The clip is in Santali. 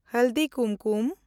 ᱦᱟᱞᱫᱤ ᱠᱩᱢᱠᱩᱢ